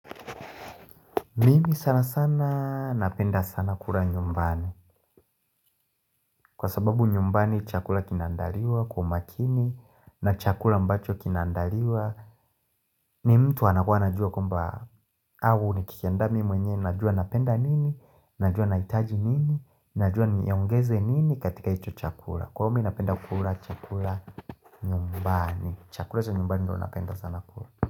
Mimi sana sana napenda sana kula nyumbani Kwa sababu nyumbani chakula kinandaliwa kwa makini na chakula ambacho kinaandaliwa ni mtu anakua anajua kwamba au ni kitu ya ndani mwenye, najua napenda nini, najua nahitaji nini, najua niongeze nini katika hicho chakula Kwa hivo napenda kula chakula nyumbani, chakula chq nyumbani ndo napenda sana kula.